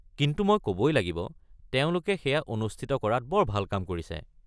কিন্তু মই ক’বই লাগিব তেওঁলোকে সেয়া অনুষ্ঠিত কৰাত বৰ ভাল কাম কৰিছে।